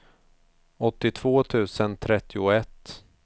åttiotvå tusen trettioett